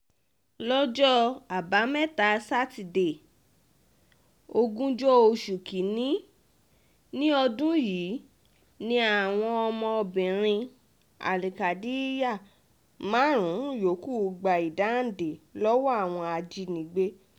lọ́jọ́ àbámẹ́ta sátidé ogúnjọ́ oṣù kín-ín-ní ọdún yìí ni àwọn ọmọbìnrin al-kadiyar márùn-ún yòókù gba ìdáǹdè lọ́wọ́ àwọn ajínigbé